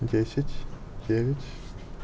десять девять